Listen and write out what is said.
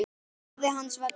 Afi hans var dáinn.